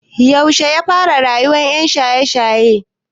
Yaushe yafara rayuwan yan shaye shaye?